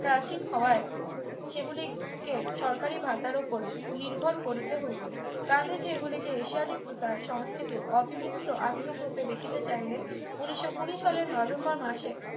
প্রাচীন হাওয়ায় সেগুলিকে সরকারি ভাতার উপর নির্ভর করিতে হইত গান্ধীজী এগুলিকে এশিয়াটিক সোসাইটি সংস্কৃতির অবিমিশ্র আশ্রম হতে দেখিতে চাহিলেন উনিশশো কুড়ি সালের নভেম্বর মাসে